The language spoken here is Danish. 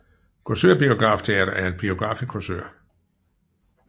Korsør Biograf Teater er en biograf i Korsør